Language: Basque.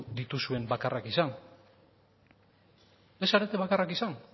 dituzuen bakarrak izan ez zarete bakarrak izan